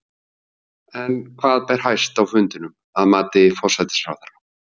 En hvað ber hæst á fundinum, að mati forsætisráðherra?